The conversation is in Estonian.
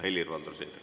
Helir-Valdor Seeder.